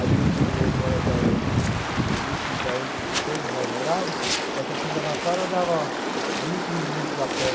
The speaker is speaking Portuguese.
A gente, eu morada, da gente, da onde todos nós morávamos, da estação de Jabaquara dava vinte minutos a pé.